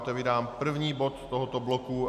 Otevírám první bod tohoto bloku.